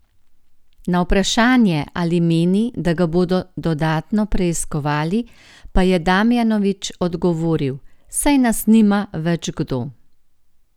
Na vprašanje, ali meni, da ga bodo dodatno preiskovali, pa je Damjanovič odgovoril: 'Saj nas nima več kdo.